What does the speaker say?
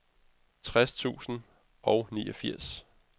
tres tusind og niogfirs